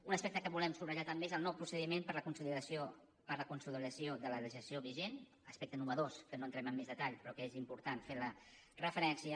un aspecte que volem subratllar també és el nou procediment per a la consolidació de la legislació vigent aspecte innovador en què no entrem amb més detall però al qual és important fer referència